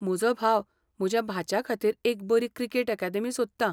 म्हजो भाव म्हज्या भाच्या खातीर एक बरी क्रिकेट अकादेमी सोदता.